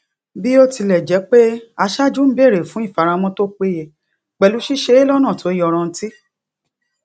bí ó tilẹ jẹ pé aṣáájú ń béèrè fún ìfaramọ tó péye pẹlú ṣíṣe é lọnà tó yanrantí